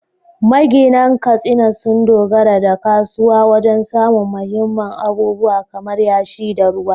Maginan Katsina sun dogara da kasuwa wajen samun muhimman abubuwa kamar yashi da ruwa.